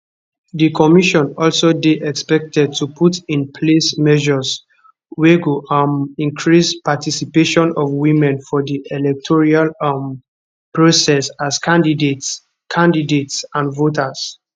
di commission also dey expected to put in place measures wey go um increase participation of women for di electoral um process as candidates candidates and voters